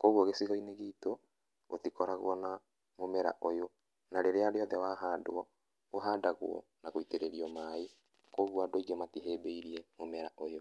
Kũoguo gĩcigo-inĩ gitũ gũtikoragwo na mũmera ũyũ na rĩrĩa rĩothe wa handwo, ũhandagwo na gũitĩrĩrio maĩ, kũoguo andũ aingĩ matihĩmbĩirie mũmera ũyũ.